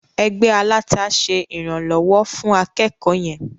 Ẹgbẹ́ aláta ṣe ìrànlọ́wọ́ fún akẹ́kọ̀ọ́ yẹn.